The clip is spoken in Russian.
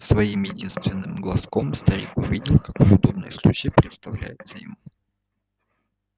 своим единственным глазом старик углядел какой удобный случай представляется ему